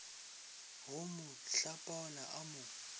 go mo hlapaola a mo